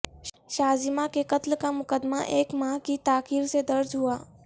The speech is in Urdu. شازیمہ کے قتل کا مقدمہ ایک ماہ کی تاخیر سے درج ہوا